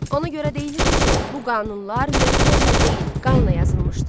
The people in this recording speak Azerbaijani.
Ona görə deyilirdi ki, bu qanunlar mürəkkəblə deyil, qanla yazılmışdı.